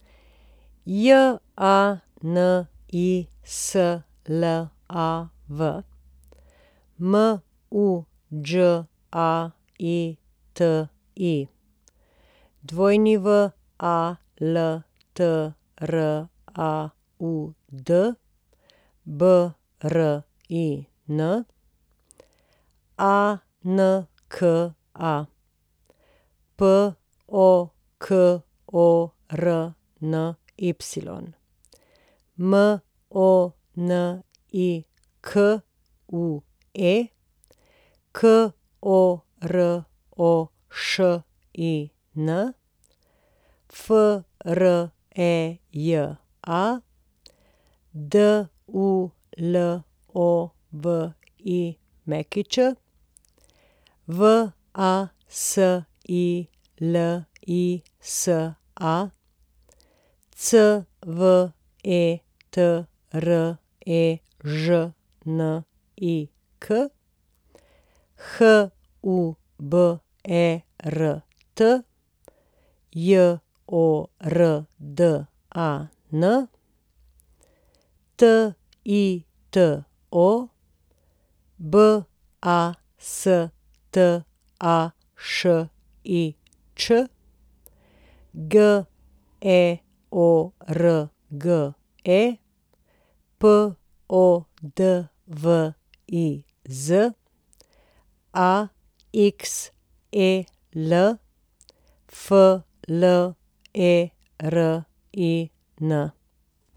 Janislav Muđaiti, Waltraud Brin, Anka Pokorny, Monique Korošin, Freja Dulović, Vasilisa Cvetrežnik, Hubert Jordan, Tito Bastašič, George Podviz, Axel Flerin.